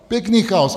Pěkný chaos.